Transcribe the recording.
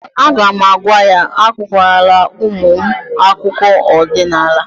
A ga'm-agwa ya, akụkwa lara ụmụ m akụkọ ọdịnala